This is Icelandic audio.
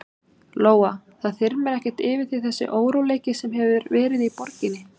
Lóa: Það þyrmir ekkert yfir þig þessi óróleiki sem hefur verið í borginni?